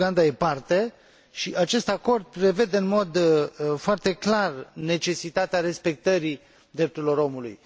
Uganda este parte, și acest acord prevede în mod foarte clar necesitatea respectării drepturilor omului.